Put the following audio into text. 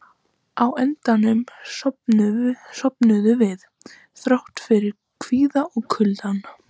Á endanum sofnuðum við, þrátt fyrir kvíðann og kuldann.